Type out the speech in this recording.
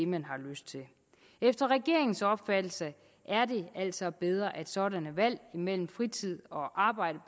man har lyst til efter regeringens opfattelse er det altså bedre at sådanne valg imellem fritid og arbejde